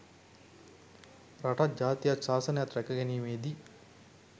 රටත්, ජාතියත්, ශාසනයත්, රැකගැනීමේදී